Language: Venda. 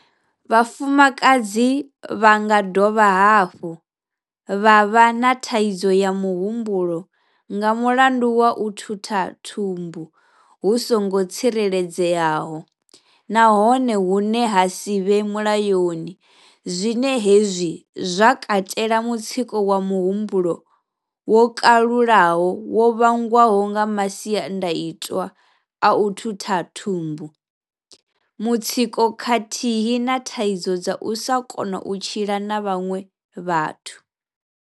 Vhafumakadzi vha nga dovha hafhu vha vha na thaidzo ya muhumbulo nga mulandu wa u thutha thumbu hu songo tsireledzeaho nahone hune ha si vhe mulayoni zwine hezwi zwa katela mutsiko wa muhumbulo wo kalulaho wo vhangwaho nga masiandaitwa a u thutha thumbu, mutsiko khathihi na thaidzo dza u sa kona u tshila na vhaṅwe vhathu.